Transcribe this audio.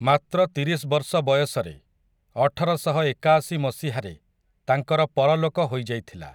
ମାତ୍ର ତିରିଶ୍ ବର୍ଷ ବୟସରେ, ଅଠରଶହ ଏକାଅଶି ମସିହାରେ ତାଙ୍କର ପରଲୋକ ହୋଇଯାଇଥିଲା ।